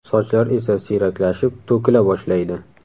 Sochlar esa siyraklashib, to‘kila boshlaydi.